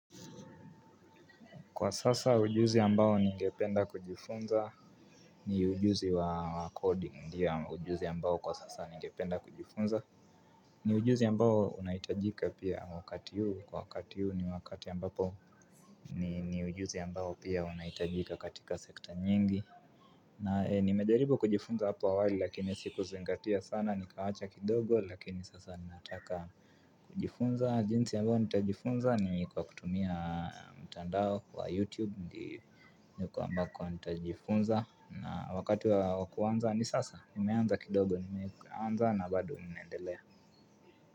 Kwa sasa ujuzi ambao ningependa kujifunza ni ujuzi wa kodi, ndio ujuzi ambao kwa sasa ningependa kujifunza. Ni ujuzi ambao unahitajika pia wakati huu, kwa wakati huu ni wakati ambapo ni ujuzi ambao pia unahitajika katika sekta nyingi. Na nimejaribu kujifunza hapa awali lakini sikuzingatia sana, nikaacha kidogo lakini sasa nataka kujifunza. Jinsi ambayo nitajifunza ni kwa kutumia mtandao wa YouTube. Ndi ndiko ambako nitajifunza. Na wakati wa kuanza ni sasa. Nimeanza kidogo nimeanza na bado naendelea.